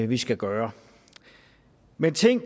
vi skal gøre men ting